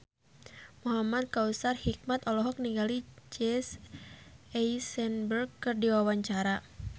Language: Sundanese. Muhamad Kautsar Hikmat olohok ningali Jesse Eisenberg keur diwawancara